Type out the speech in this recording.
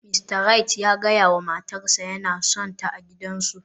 Mista Wright ya gaya wa matarsa ​​yana sonta a gidansu